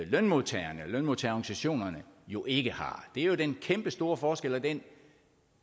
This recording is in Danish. lønmodtagerne lønmodtagerorganisationerne jo ikke har det er jo den kæmpestore forskel og den